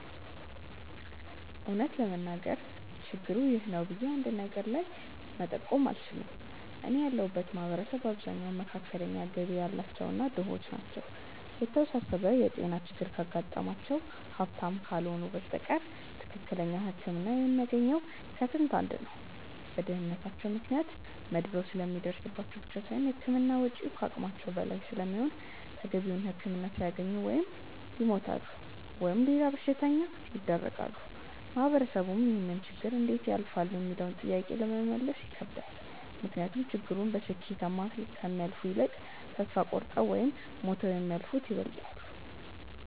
እውነት ለመናገር ችግሩ 'ይህ ነው' ብዬ አንድ ነገር ላይ መጠቆም አልችልም። እኔ ያለሁበት ማህበረሰብ አብዛኛው መካከለኛ ገቢ ያላቸው እና ድሆች ናቸው። የተወሳሰበ የጤና ችግር ካጋጠማቸው ሀብታም ካልሆኑ በስተቀር ትክክለኛ ህክምና የሚያገኘው ከስንት አንድ ነው። በድህነታቸው ምክንያት መድሎ ስለሚደርስባቸው ብቻ ሳይሆን የህክምና ወጪው ከአቅማቸው በላይ ስለሚሆን ተገቢውን ህክምና ሳያገኙ ወይ ይሞታሉ ወይም ለሌላ በሽታ ይዳረጋሉ። ማህበረሰቡም ይህንን ችግር እንዴት ያልፋሉ ሚለውንም ጥያቄ ለመመለስ ይከብዳል። ምክንያቱም ችግሩን በስኬታማ ከሚያልፉት ይልቅ ተስፋ ቆርጠው ወይም ሞተው የሚያልፉት ይበልጣሉ።